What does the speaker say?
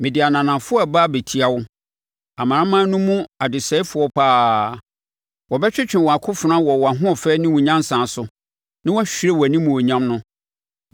mede ananafoɔ reba abɛtia wo, amanaman no mu ɔdesɛefoɔ pa ara; wɔbɛtwetwe wɔn akofena wɔ wʼahoɔfɛ ne wo nyansa so na wɔahwire wʼanimuonyam no.